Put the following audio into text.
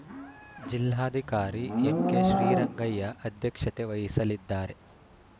ಜಿಲ್ಲಾಧಿಕಾರಿ ಎಂಕೆಶ್ರೀರಂಗಯ್ಯ ಅಧ್ಯಕ್ಷತೆ ವಹಿಸಲಿದ್ದಾರೆ